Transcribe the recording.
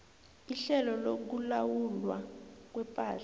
ihlelo lokulawulwa kwepahla